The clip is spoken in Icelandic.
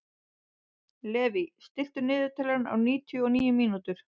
Levý, stilltu niðurteljara á níutíu og níu mínútur.